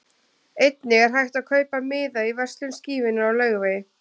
Einnig er hægt að kaupa miða í verslun Skífunnar á Laugavegi.